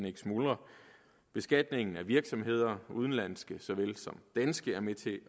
ikke smuldrer beskatningen af virksomheder udenlandske såvel som danske er med til